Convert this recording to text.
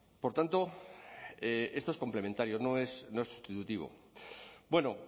por tanto esto es complementario no es sustitutivo bueno